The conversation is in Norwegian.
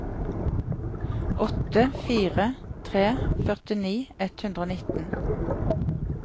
åtte fire fire tre førtini ett hundre og nitten